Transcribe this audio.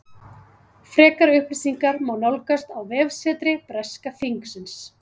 Frekari upplýsingar má nálgast á vefsetri breska þingsins.